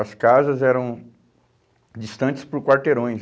As casas eram distantes por quarteirões.